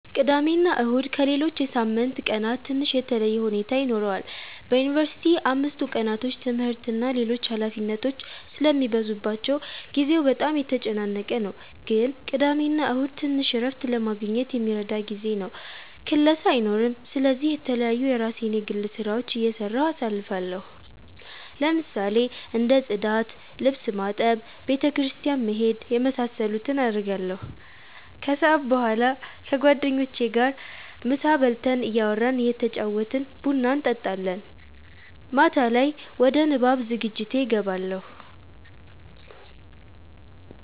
ቅዳሜና እሁድ ከሌሎች የሳምንት ቀናት ትንሽ የተለየ ሁኔታ ይኖረዋል በዩንቨርሲቲ አምስቱ ቀናቶች ትምህርት እና ሌሎች ኃላፊነቶች ስለሚበዙባቸው ጊዜው በጣም የተጨናነቀ ነው ግን ቅዳሜና እሁድ ትንሽ እረፍት ለማግኘት የሚረዳ ጊዜ ነው ክላስ አይኖርም ስለዚህ የተለያዩ የራሴን የግል ስራዎች እየሰራሁ አሳልፋለሁ ለምሳሌ እንደ ፅዳት፣ ልብስ ማጠብ፣ ቤተ ክርስቲያን መሄድ የመሳሰሉትን አረጋለሁ። ከሰዓት በኋላ ከጓደኞቼ ጋር ምሳ በልተን እያወራን እየተጫወትን ቡና እንጠጣለን። ማታ ላይ ወደ ንባብ ዝግጅቴ እገባለሁ።